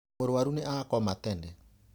Mũrũaru nĩ akoma tene.